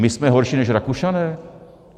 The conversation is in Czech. My jsme horší než Rakušané?